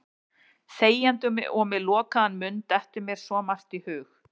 Þegjandi og með lokaðan munn dettur mér svo margt í hug.